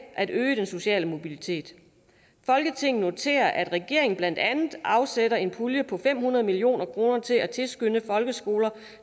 at øge den sociale mobilitet folketinget noterer at regeringen blandt andet afsætter en pulje på fem hundrede million kroner til at tilskynde folkeskoler